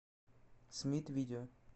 смит видео